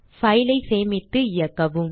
file ஐ சேமித்து இயக்கவும்